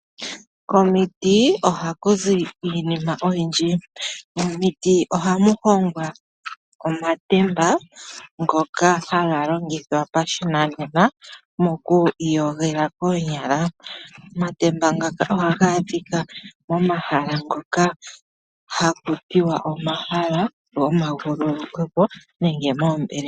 Vomiting oha kuzi iinima oyindji. Omiti ohamu hongwa omatemba ngoka haga longithwa moshinanena moku iyogela koonyala. Omatemba ngaka ohaga a dhika momahala ngoka ha kutiwa omahala go ma vululweke po nenge moombelewa.